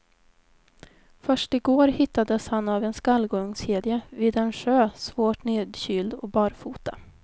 Först i går hittades han av en skallgångskedja vid en sjö, svårt nedkyld och barfota.